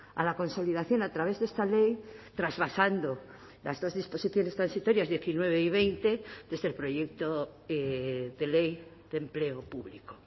a la consolidación a través de esta ley trasvasando las dos disposiciones transitorias diecinueve y veinte desde el proyecto de ley de empleo público